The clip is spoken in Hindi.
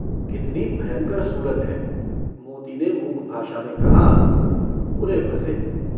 कितनी भयंकर सूरत है। मोती ने मूक भाषा में कहा - बुरे फंँसे।